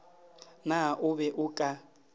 na o be o ka